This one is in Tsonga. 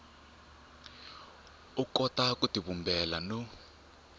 u kota ku tivumbela no